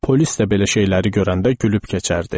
Polis də belə şeyləri görəndə gülüb keçərdi.